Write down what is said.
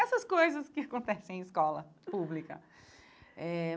Essas coisas que acontecem em escola pública eh.